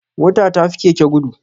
Mota ta fi keke gudu